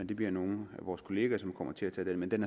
det bliver nogle af vores kollegaer som kommer til at tage den men den